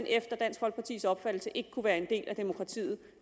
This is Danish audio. efter dansk folkepartis opfattelse ikke være en del af demokratiet